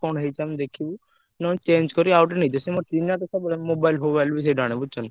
କଣ ହେଇଛ ଆମେ ଦେଖିବୁ, ନହେଲେ change କରି ଆଉ ଗୋଟେ ନେଇଯିବ ସେ ମୋର ଚିହ୍ନା mobile ଫୋବାଇଲି ବି ସେଇଠୁ ଆଣେ ବୁଝୁଛନା।